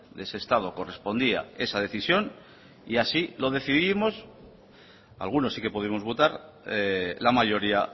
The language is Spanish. de ese estado correspondía esa decisión y así lo decidimos algunos sí que pudimos votar la mayoría